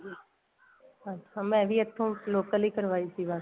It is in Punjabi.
ਅੱਛਾ ਮੈਂ ਵੀ ਇੱਥੋ local ਈ ਕਰਵਾਈ ਸੀ